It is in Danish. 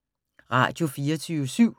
Radio24syv